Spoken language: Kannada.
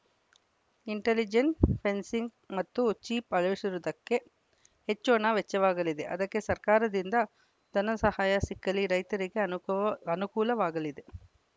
ಇಂಟೆಲಿಜೆಂಟ್‌ ಫೆನ್ಸಿಂಗ್‌ ಮತ್ತು ಚಿಪ್‌ ಅಳವಡಿಸುವುದಕ್ಕೆ ಹೆಚ್ಚು ಹಣ ವೆಚ್ಚವಾಗಲಿದೆ ಇದಕ್ಕೆ ಸರ್ಕಾರದಿಂದ ಧನಸಹಾಯ ಸಿಕ್ಕಲ್ಲಿ ರೈತರಿಗೆ ಅನುಕೂ ಅನುಕೂಲವಾಗಲಿದೆ